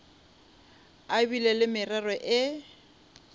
a bile le morero le